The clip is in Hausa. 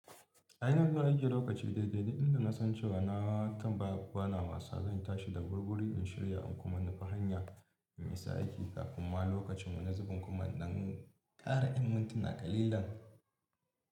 A ina zan ajiye lokaci daidai da inda na san cewa na kan ba gwanawa sa, zan tashi da gurguri in shirya in kuma nufi hanya in yi sa aiki kafin ma lokacin wanzubin kuma nan kara in mintuna kalilan.